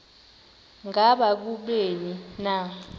ngaba kubleni na